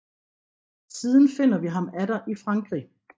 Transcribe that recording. Siden finder vi ham atter i Frankrig